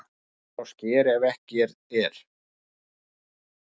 Fer á sker ef ekki er